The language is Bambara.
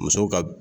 Muso ka